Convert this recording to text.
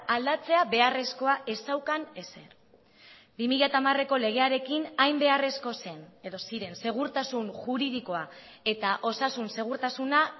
aldatzea beharrezkoa ez zeukan ezer bi mila hamareko legearekin hain beharrezko zen edo ziren segurtasun juridikoa eta osasun segurtasuna